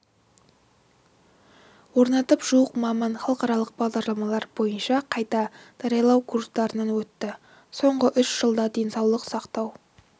орнатып жуық маман халықаралық бағдарламалар бойынша қайта даярлау курстарынан өтті соңғы үш жылда денсаулық сақтау